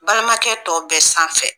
Balimakɛ tɔ bɛ sanfɛ